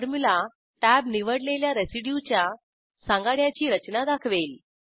formula tab निवडलेल्या रेसिड्यूच्या सांगाड्याची रचना दाखवेल